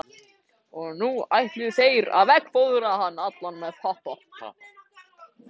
Og nú ætluðu þeir að veggfóðra hann allan með pappa.